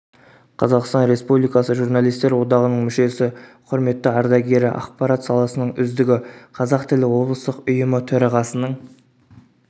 қазақстан республикасы журналистер одағының мүшесі құрметті ардагері ақпарат саласының үздігі қазақ тілі облыстық ұйымы төрағасының